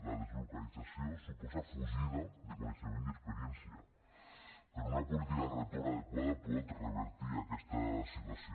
la deslocalització suposa fugida de coneixement i experiència però una política de retorn adequada pot revertir aquesta situació